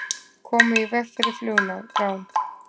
Komu í veg fyrir flugrán